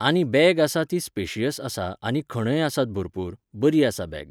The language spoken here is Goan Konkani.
आनी बॅग आसा ती स्पेशियस आसा आनी खणय आसात भरपूर, बरी आसा बॅग